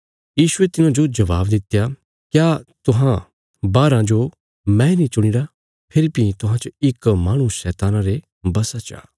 यीशुये तिन्हांजो जबाब दित्या क्या तुहां बाराँ जो मैंई नीं चुणीरा फेरी भीं तुहां च इक माहणु शैतान रे वशा चा